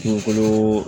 Kungolo